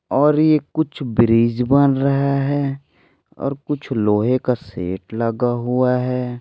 और ये कुछ ब्रिज बन रहा है और कुछ लोहे का सेट लगा हुआ है।